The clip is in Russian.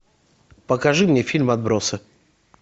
покажи мне фильм отбросы